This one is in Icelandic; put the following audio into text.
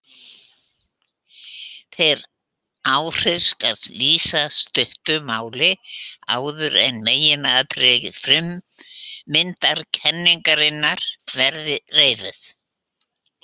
Þeim áhrifum skal lýst í stuttu máli áður en meginatriði frummyndakenningarinnar verða reifuð.